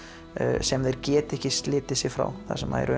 sem þeir geta ekki slitið sig frá þar sem að